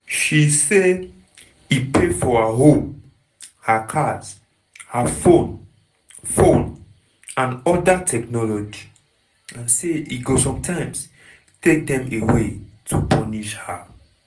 she say e pay for her home her cars her phone phone and oda technology and say e go sometimes take dem away to "punish" her.